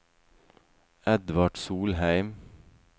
Edvard Solheim